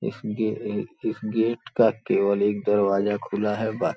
इस गे इस गेट का केवल एक दरवाजा खुला है बाकी --